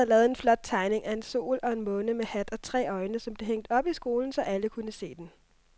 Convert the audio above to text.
Dan havde lavet en flot tegning af en sol og en måne med hat og tre øjne, som blev hængt op i skolen, så alle kunne se den.